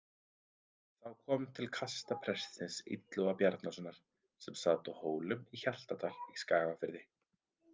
Þá kom til kasta prestsins Illuga Bjarnasonar sem sat á Hólum í Hjaltadal í Skagafirði.